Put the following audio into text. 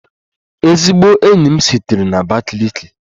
Ezigbo enyi m sitere na Abakiliki